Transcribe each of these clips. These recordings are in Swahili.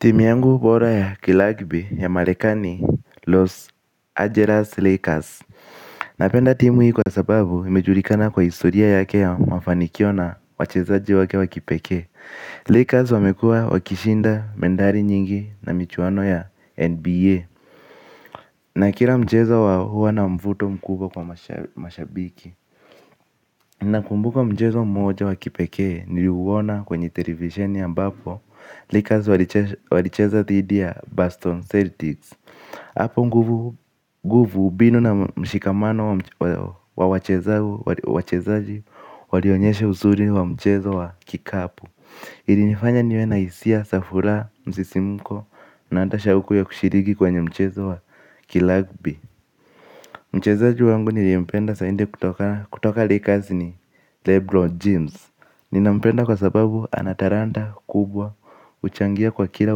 Timu yangu bora ya kiragbi ya marekani Los Angeles Lakers. Napenda timu hii kwa sababu imejulikana kwa historia yake ya mafanikio na wachezaji wake wa kipekee. Lakers wamekuwa wakishinda medali nyingi na michuano ya NBA. Na kila mchezo wao huwa na mvuto mkubwa kwa mashabiki. Nakumbuka mchezo mmoja wa kipekee niliuona kwenye televisheni ambapo Lakers walicheza dhidi ya Boston Celtics. Hapo nguvu mbinu na mshikamano wa wachezaji walionyesha uzuri wa mchezo wa kikapu ilinifanya niwe na hisia za furaha msisimko. Na hata shauku ya kushiriki kwenye mchezo wa kiragbi. Mchezaji wangu niliyependa zaidi kutoka laker ni Lebron James. Ninampenda kwa sababu ana talanta kubwa huchangia kwa kila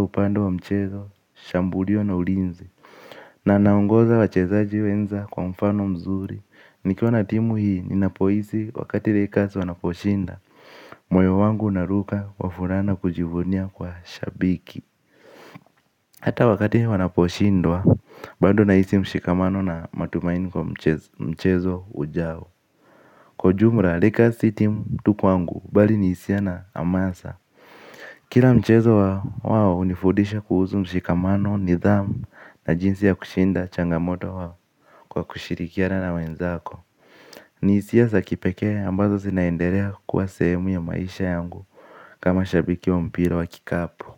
upande wa mchezo. Shambulio na ulinzi. Na anaongoza wachezaji wenza kwa mfano mzuri. Nikiwa na timu hii ninapohisi wakati lakers wanaposhinda moyo wangu unaruka kwa furaha na kujivunia kuwa shabiki. Hata wakati wanaposhindwa bado nahisi mshikamano na matumaini kwa mchezo ujao. Kwa ujumla lakers si timu tu kwangu. Bali ni hisia na hamasa. Kila mchezo wao hunifundisha kuhusu mshikamano, nidhamu na jinsi ya kushinda changamoto wao kwa kushirikiana na wenzako. Ni hisia za kipekee ambazo zinaendelea kuwa sehemu ya maisha yangu kama shabiki wa mpira wa kikapu.